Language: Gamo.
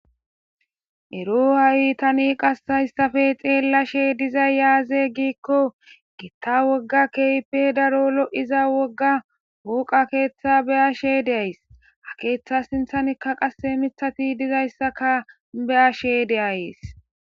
Ero hay ta isttappe xelashe dizzay aygikkogita woga kehi loyizza woga foqqe ketha beyashe de'ss ha ketha sinthan qasikka mithazzi dizayssa beyashe de's.